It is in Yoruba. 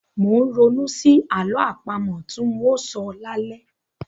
Mò ń ronú sí àlọ́ àpamọ tí ń óò sọ lálẹ́.